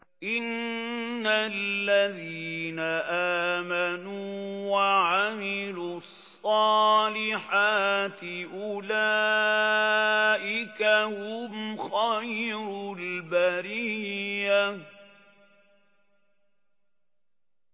إِنَّ الَّذِينَ آمَنُوا وَعَمِلُوا الصَّالِحَاتِ أُولَٰئِكَ هُمْ خَيْرُ الْبَرِيَّةِ